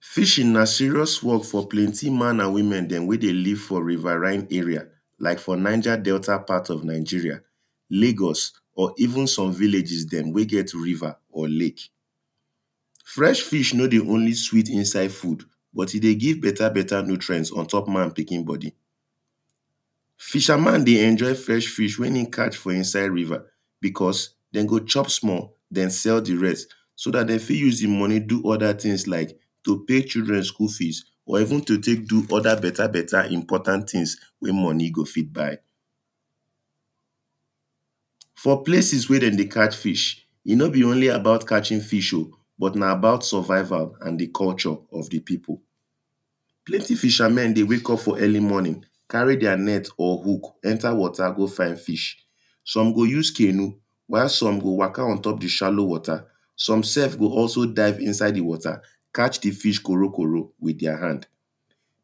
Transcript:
Fishing na serious work for plenty man and woman dem wen dey live for riverine area, like for Niger Delta part of Nigeria, Lagos or even some villages dem wen get river or lake, fresh fish no dey only sweet inside food, but e dey give better better nutrient untop man pikin body. Fisher man dey enjoy fresh fish wen im catch for insiade river because dem go chop small den sell di rest so dat dem fit use di money do other things like to pay children school fees or even to pay some other beta beta important things dem wen money fit buy. For places wen dem dey catch fish e no be only about catching fish oh, but na about survival and di culture of di people. Plenty fishermen dey wake up for early morning carry their net or hook enter water go find fish. some go use canoe, while some go waka untop di shallow water some sef go also dive inside di water, catch di fish korokoro with their hand.